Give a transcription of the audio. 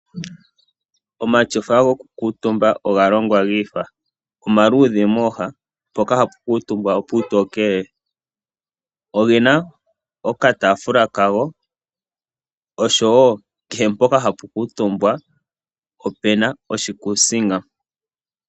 Omatyofa gokukuutumba oga longwa gi ifa. Omaluudhe mooha mpoka hapu kuutumbwa opuutokele. Oge na okataafula kago oshowo kehe mpoka hapu kuutumbwa opuna oshikuusinga.